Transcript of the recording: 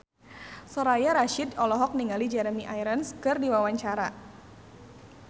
Soraya Rasyid olohok ningali Jeremy Irons keur diwawancara